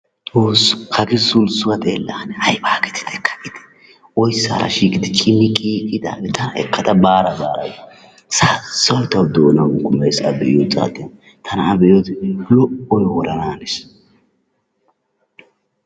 Xoosso hagaa sulssuwa xeela ane ayabaa gididi kaa'iide oysaara shiqidi cimmiqqiiqqidaagee tana ekkada baara baara gees. Sassoy tawu doonaani kuummees a be'iyo saatiyan tana a be'iyodee lo'oy woranaanees.